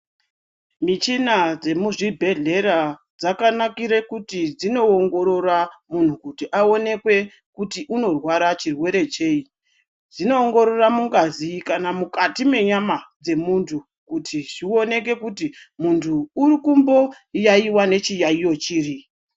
Michina dzemuzvibhedhlera dzakanakire kuti dzinoongorora munhu kuti aonekwe kuti unorwara chirwere chei. Dzinoongorora mungazi kana mukati menyama dzemuntu kuti zvioneke kuti muntu uri kumboyaiywa nechiyaiyo chiri.